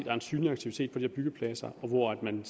er en synlig aktivitet på de her byggepladser og hvor der er en